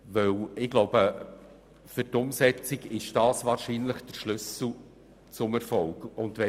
Doch wäre dies meines Erachtens der Schlüssel zum Erfolg in der Umsetzung.